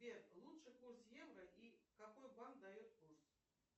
сбер лучший курс евро и какой банк дает курс